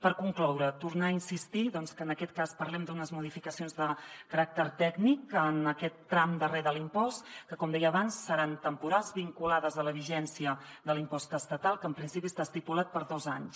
per concloure tornar a insistir que en aquest cas parlem d’unes modificacions de caràcter tècnic en aquest tram darrer de l’impost que com deia abans seran temporals vinculades a la vigència de l’impost estatal que en principi està estipulat per a dos anys